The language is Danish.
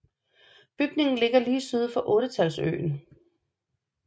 Bygningen ligger lige syd for Ottetalssøen